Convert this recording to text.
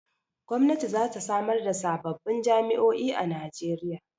Gwamnati za ta samar da sababbin jami'o'i a Najeriya.